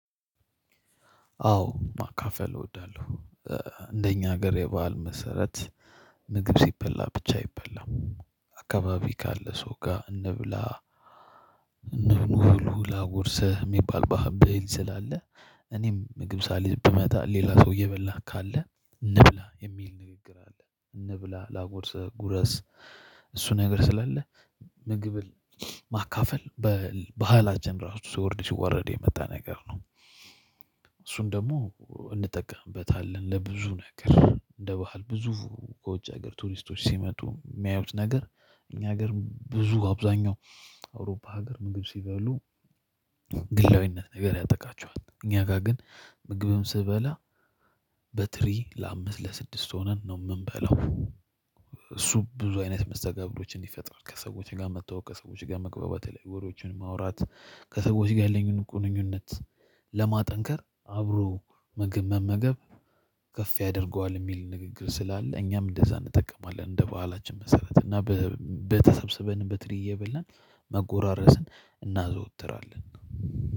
አዎ ማካፈል እወዳለሁ። እንደኛ ሀገር ባህል መሰረት ምግብ ሲበላ ብቻ አይበላም። አካባቢ ካለ ሰው ጋር እንብላ ኑ ብሉ ላጉርሰህ የሚባል ብሄል ስላለ። እኔም ምግብ ሳልይዝ ብመጣ ሌላ ሰው እበላ ካለ እንብላ የሚል ንግግር አለ እንብላ ላጎርሰህ ጉረስ። እሱ ነገር ስላለ ምግብ ማካፈል በባህል እራሱ ሲወርድ ሲዋረድ የመጣ ነገር ነው። እሱን ደግሞ እንጠቀምበታለን ለብዙ ነገር እንደ ባህል ብዙ የውጭ ቱሪስቶች ሲመጡ የሚያዩት ነገር እኛ ሀገር ብዙ አብዛኛው አውሮፓ ሀገር ምግብ ሲበሉ። ግላዊነት ነገር ያጠቃቸዋል እኛ ጋር ግን ምግብም ስበላ በትሪ ለአምስት ለስድስት ሆነን ነው የምንበላው እሱ ብዙ አይነት መስተጋብሮችን ይፈጥራል። ከሰዎች ጋር መተዋወቅ ከሰዎች ጋር መግባባቴ ላይ ወሬዎችን ማውራት ከሰዎች ጋር ያለኝን ግንኙነት ለማጠንከር አብሮ ምግብ መመገብ። ከፍ ያደርገዋል የሚል ንግግር ስላለ እኛም እንደዛ እንጠቀማለን። እንደ በዓላችን መሰረት እና በተሰበሰበንም በትርዬ እየበላን መጎራረስን እናዘወትራለን